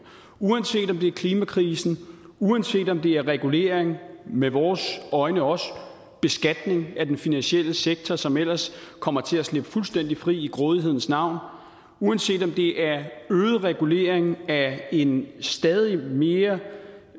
uanset om det er klimakrisen og uanset om det er regulering og med vores øjne også beskatning af den finansielle sektor som ellers kommer til at slippe fuldstændig fri i grådighedens navn uanset om det er øget regulering af en stadig mere